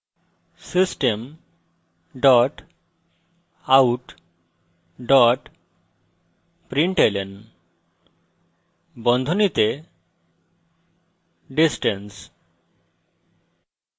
system dot out dot println বন্ধনীতে distance